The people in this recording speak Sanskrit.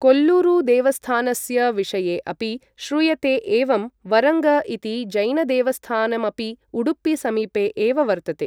कोल्लूरुदेवस्थानस्य विषये अपि श्रूयते एवं वरङ्ग इति जैनदेवस्थानमपि उडुपिसमीपे एव वर्तते ।